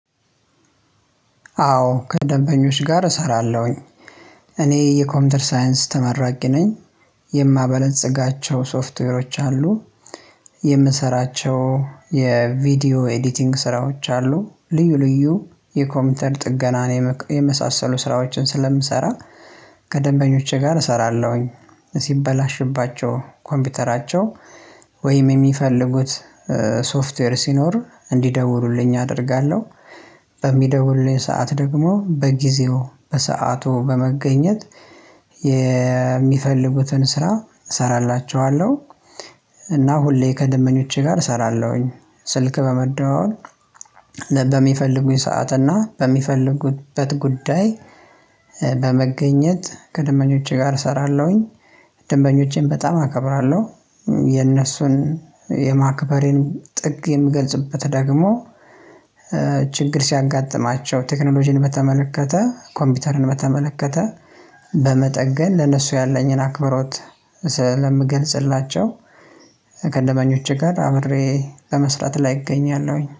አዎ ከደንበኞች ጋር እሰራለሁኝ እኔ የኮምፒር ሳይንስ ተመራቂ ነኝ። የማበለጽጋቸው ሶፍትዌሮች አሉ። የምሰራቸው የቪዲዮ ኤዲቲንግ ስራዎች አሉ፤ ልዩ ልዩ የኮምፒውተር ጥገናን የመሳሰሉ ስራዎችን ስለምሰራ ከደንበኞቼ ጋር እሰራለሁኝ። ሲበላሽባቸው ኮምፒውተራቸው የሚፈልጉት ሶፍትዌር ሲኖር እንዲደውሉልኝ አደርጋለሁ። በሚደውሉልኝ ሰዓት ደግሞ በጊዜው በሰአቱ በመገኘት የሚፈልጉትን ስራ እሰራላቸዋለሁ። እና ሁሌ ከደመኞቼ ጋር እሰራለሁኝ። ስልክ በመደወል በሚፈልጉኝ ሰዓት እና በሚፈልጉበት ጉዳይ ከደንበኞቼ ጋር እሰራለሁኝ። ደንበኞቼን በጣም አከብራለሁ። የነሱን የማክበሬን ጥግ የምገልጽበት ደግሞ ችግር ሲያጋጥማቸው ቴክኖሎጂን በተመለከተ ኮምፒውተርን በተመለከተ በመጠገን ለነሱ ያለኝን አክብሮት ስለምገልጽላቸው ከደንበኞቼ ጋር አብሬ ቀመስራት ላይ እገኛለሁኝ